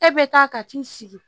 E bɛ taa ka t'i sigi